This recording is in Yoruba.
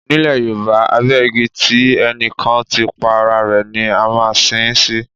Nílẹ̀ Yorùbá, abẹ igi tí ẹnì kan ti pa ara rẹ̀ ni a máa sin ín sí.